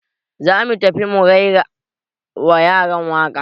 Za mu tafi mu raira wa yaran waka